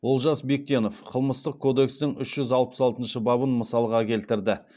олжас бектенов қылмыстық кодекстің үш жүз алпыс алтыншы бабын мысалға келтірді